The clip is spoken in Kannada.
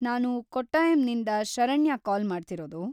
ನಾನು ಕೊಟ್ಟಾಯಮ್‌ನಿಂದ ಶರಣ್ಯ ಕಾಲ್‌ ಮಾಡ್ತಿರೋದು.